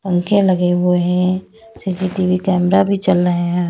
पंखे लगे हुए है सी_सी टी_वी कैमरा भी चल रहे हैं।